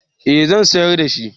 eh zan sayar da shi